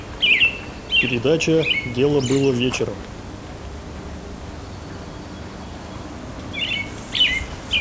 передача дело было вечером